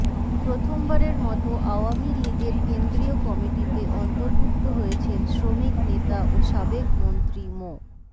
প্রথমবারের মতো আওয়ামী লীগের কেন্দ্রীয় কমিটিতে অন্তর্ভুক্ত হয়েছেন শ্রমিক নেতা ও সাবেক মন্ত্রী মো